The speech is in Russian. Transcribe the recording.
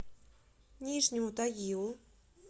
нижнему тагилу